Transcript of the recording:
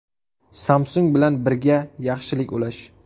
Samsung bilan birga yaxshilik ulash.